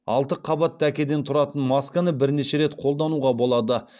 алты қабат дәкеден тұратын масканы бірнеше рет қолдануға болады